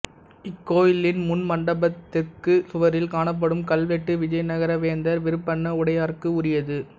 இக்கோயிலின் முன்மண்டபத்துத் தெற்குச் சுவரில் காணப்படும் கல்வெட்டு விஜயநகர வேந்தர் விருப்பண்ண உடையாருக்கு உரியது